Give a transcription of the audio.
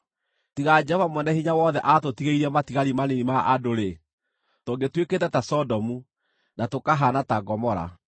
Tiga Jehova Mwene-Hinya-Wothe aatũtigĩirie matigari manini ma andũ-rĩ, tũngĩtuĩkĩte ta Sodomu, na tũkahaana ta Gomora!